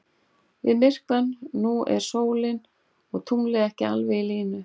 Við myrkvann nú eru sólin og tunglið ekki alveg í línu.